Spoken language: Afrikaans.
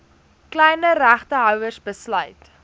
kleiner regtehouers besluit